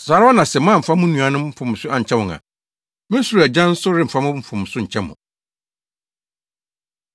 “Saa ara na sɛ moamfa mo nuanom mfomso ankyɛ wɔn a, me soro Agya nso remfa mo mfomso nkyɛ mo.”